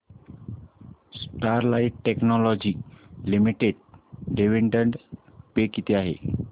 Sterlite Technologies Limited dividend pay किती आहे